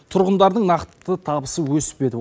тұрғындардың нақты табысы өспеді